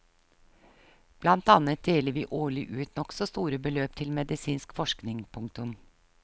Blant annet deler vi årlig ut nokså store beløp til medisinsk forskning. punktum